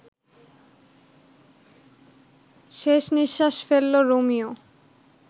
শেষ নিশ্বাস ফেলল রোমিও